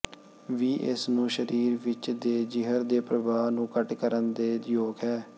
ਵੀ ਇਸ ਨੂੰ ਸਰੀਰ ਵਿੱਚ ਦੇਜ਼ਿਹਰ ਦੇ ਪ੍ਰਭਾਵ ਨੂੰ ਘੱਟ ਕਰਨ ਦੇ ਯੋਗ ਹੈ